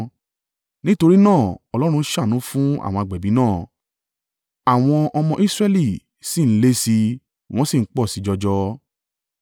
Nítorí náà Ọlọ́run ṣàánú fún àwọn agbẹ̀bí náà, àwọn ọmọ Israẹli sì ń le sí i, wọ́n sì ń pọ̀ sí i jọjọ.